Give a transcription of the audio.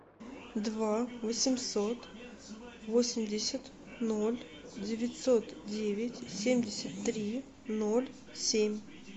два восемьсот восемьдесят ноль девятьсот девять семьдесят три ноль семь